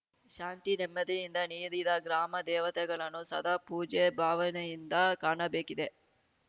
ಶಾಂತಿ ನೆಮ್ಮದಿಯಿಂದ ನೀಡಿದ ಗ್ರಾಮ ದೇವತೆಗಳನ್ನು ಸದಾ ಪೂಜ್ಯ ಭಾವನೆಯಿಂದ ಕಾಣಬೇಕಿದೆ